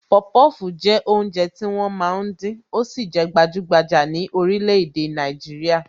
Popofu jẹ́ oúnjẹ tí wọ́n máa ń dín, ó sì jẹ gbajugbaja ni orílè-èdè Nàìjíríà